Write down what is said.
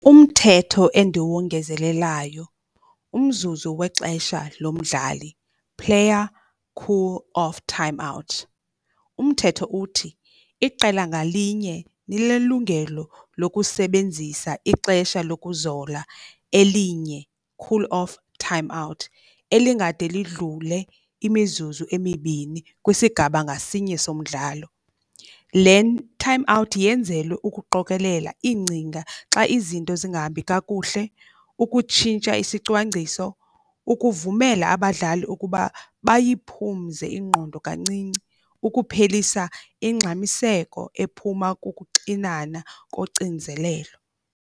Umthetho endiwongezelelayo umzuzu wexesha lomdlali, player cool off time out. Umthetho uthi iqela ngalinye linelungelo lokusebenzisa ixesha lokuzola elinye, cool off time out, elingade lidlule imizuzu emibini kwisigaba ngasinye somdlalo. Le timeout yenzelwe ukuqokelela iingcinga xa izinto zingahambi kakuhle, ukutshintsha isicwangciso, ukuvumela abadlali ukuba bayiphumze ingqondo kancinci. Ukuphelisa ingxamiseko ephuma kukuxinana kocinzelelo.